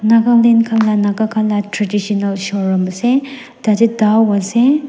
Nagaland khan la naga khan la traditional showroom ase tate doa ase.